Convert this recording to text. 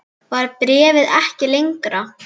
Var bréfið ekki lengra?